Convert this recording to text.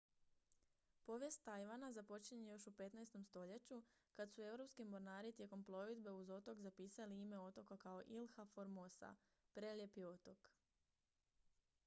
povijest tajvana započinje još u 15. stoljeću kad su europski mornari tijekom plovidbe uz otok zapisali ime otoka kao ilha formosa prelijepi otok